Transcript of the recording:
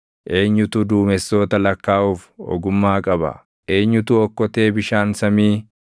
Eenyutu duumessoota lakkaaʼuuf ogummaa qaba? Eenyutu okkotee bishaan samii